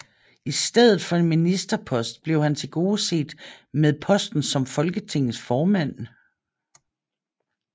I stedet for en ministerpost blev han tilgodeset med posten som Folketingets formand